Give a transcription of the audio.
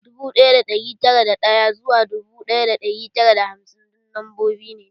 Dubu ɗaya da ɗari tara da ɗaya zuwa dubu ɗaya da ɗari tara da hamsin duk lambobi ne